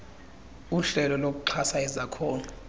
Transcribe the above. uhlelo lokuxhasa izakhono